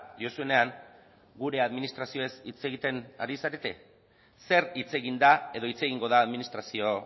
diozunean gure administrazioez hitz egiten ari zarete zer hitz egin da edo hitz egingo da administrazio